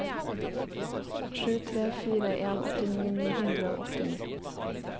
sju tre fire en åttini ni hundre og åttini